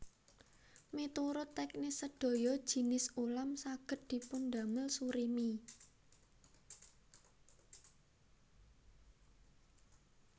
Miturut teknis sedaya jinis ulam saged dipundamel surimi